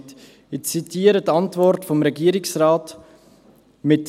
Ich zitiere die Antwort des Regierungsrates: «